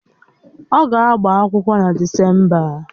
Ọ ga-agba akwụkwọ na Desemba?